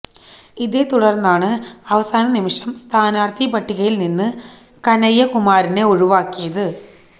ഇതേ തുടര്ന്നാണ് അവസാന നിമിഷം സ്ഥാനാര്ത്ഥി പട്ടികയില് നിന്ന് കനയ്യകുമാറിനെ ഒഴിവാക്കിയത്